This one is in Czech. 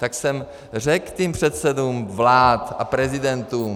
Tak jsem řekl těm předsedům vlád a prezidentům.